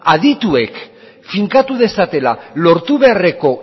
adituek finkatu dezatela lortu beharreko